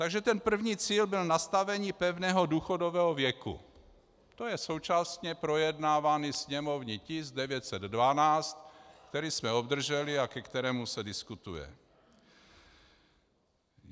Takže ten první cíl byl nastavení pevného důchodového věku, to je současně projednávaný sněmovní tisk 912, který jsme obdrželi a ke kterému se diskutuje.